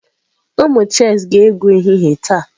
Ụmụ chess ga-egwu ehihie taa.